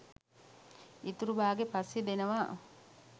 ඉතුරු බාගේ පස්සෙ දෙනවා